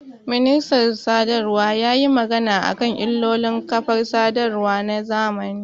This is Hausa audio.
Ministan sadarwa yayi magana akan ilolin kafar sadarwa na zamani